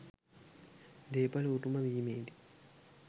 දේපල උරුම වීමේදී